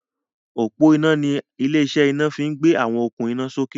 ọpo iná ní ilé-iṣẹ́ ina fí gbé àwọn okun ina sókè.